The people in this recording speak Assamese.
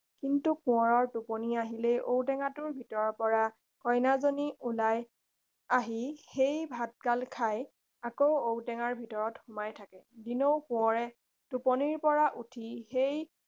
কিন্তু কোঁৱৰৰ টোপনি আহিলেই ঔ টেঙাটোৰ ভিতৰৰ পৰা কন্যাজনী ওলাই আহি সেই ভাতগাল খাই আকৌ ঔ টেঙাৰ ভিতৰত সোমাই থাকে দিনৌ কোঁৱৰে টোপনিৰ পৰা উঠি সেই